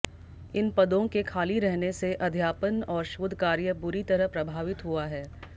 इन पदों के खाली रहने से अध्यापन और शोध कार्य बुरी तरह प्रभावित हुआ है